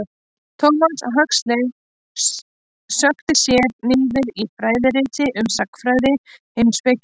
Thomas Huxley sökkti sér niður í fræðirit um sagnfræði, heimspeki og náttúrufræði.